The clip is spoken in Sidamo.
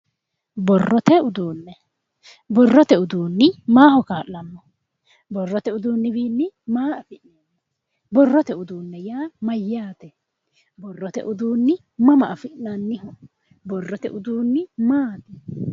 Borrote uduune, borrote uduuni maaho kaa'lano? Borrote uduuni wiini maa adhinanni, borrote uduuni yaa mayate ,borrote uduuni mama afi'nanniho, borrote uduuni maati?